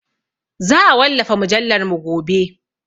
Za a wallafa mujallarmu gobe.